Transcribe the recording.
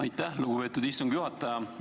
Aitäh, lugupeetud istungi juhataja!